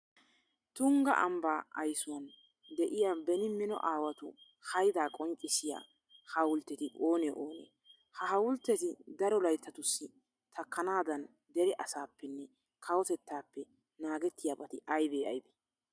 Tungga ambbaa aysuwan de'iya beni mino aawatu haydaa qonccissiya hawultteti oonee oonee? Ha hawultteti daro layttatussi takkanaadan dere asaappenne kawotettaappe naagettiyabati aybee aybee?